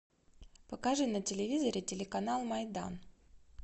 покажи на телевизоре телеканал майдан